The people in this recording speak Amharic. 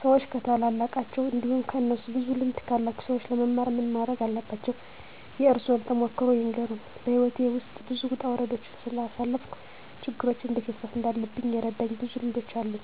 ሰዎች ከታላላቃቸው እንዲሁም ከእነሱ ብዙ ልምድ ካላቸው ሰዎች ለመማር ምን ማረግ አለባቸው? የእርሶን ተሞክሮ ይንገሩን? *በሕይወቴ ውስጥ ብዙ ውጣ ውረዶችን ስላሳለፍኩ፣ ችግሮችን እንዴት መፍታት እንዳለብኝ የረዱኝ ብዙ ልምዶች አሉ፤